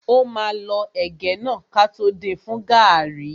Ó máa lọ ẹ̀gẹ́ náà kótó din fún gàrrí.